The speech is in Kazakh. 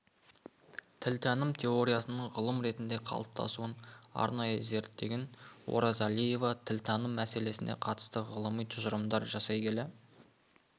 тілтаным теориясының ғылым ретінде қалыптасуын арнайы зерттеген оразалиева тілтаным мәселесіне қатысты ғылыми тұжырымдар жасай келе